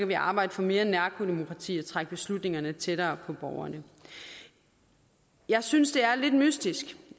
vi arbejde for mere nærdemokrati og trække beslutningerne tættere på borgerne jeg synes det er lidt mystisk